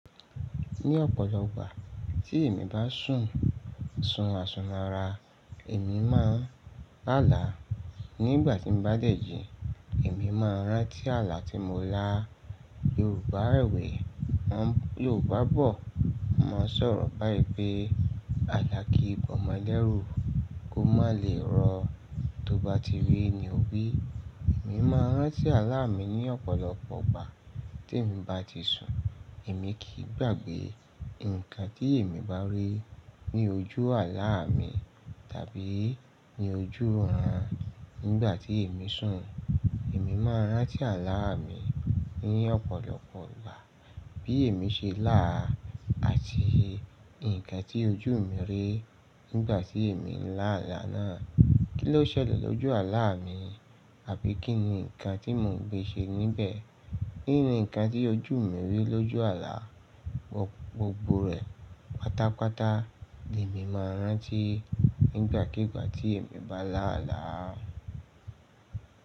Ní ọ̀pọ̀lọpọ̀ gbà tí èmi bá sùn sun asun ara, èmi máa ń la là. Nígbà tí mo bá dẹ̀jì, èmi máa ń rántí àlá tí mo lá. Yorùbá rẹwẹ̀ẹ́ wọ́n yórubá bọ̀ máa n sọ̀rọ̀ báyii pe àlá kí ba omo lẹ́rù kó má lè rọ. Tó bá ti rí ni ó bí. Èmi máa ń rántí àlá mi ní ọ̀pọ̀lọpọ̀ ìgbà tí emi bá ti sùn. Èmi kì í gbàgbé nǹkan tí èmi bá rí ní ojú àlá mi tàbí ní ojú òòrùn nígbà tí èmi sùn. Èmi máa ń rántí àlá mi ní ọ̀pọ̀lọpọ̀ ìgbà bí èmi ṣe lá àti nǹkan tí ojú mi rí nígbà tí èmi ń lá àlá náà. Kí ló ṣẹlẹ̀ lójú àlá mi àbí kí ni nǹkan tí mò ń gbé ṣe níbẹ̀? Kí ni nǹkan tí ojú mi rí lójú àlá? Gbogbo rẹ̀ pátápátá ni èmi máa ń rántí nígbàkígbà tí èmi bá lá àlá.